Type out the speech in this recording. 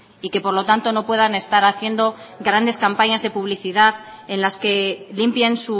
y que por lo tanto no puedan estar haciendo grandes campañas de publicidad en las que limpien